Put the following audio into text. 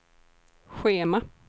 schema